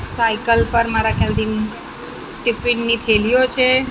Cycle પર મારા ખ્યાલથી ટિફિન ની થેલીઓ છે.